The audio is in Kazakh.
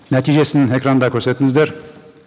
нәтижесін экранда көрсетіңіздер